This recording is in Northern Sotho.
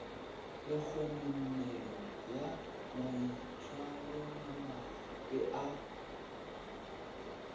le kgononelo ya maitshwaromabe a